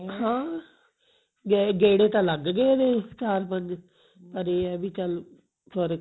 ਹਾਂ ਗੇੜੇ ਤਾਂ ਲੱਗ ਗਏ ਉਹਦੇ ਚਾਰ ਪੰਜ ਪਰ ਇਹ ਹੈ ਵੀ ਚੱਲ ਫਰਕ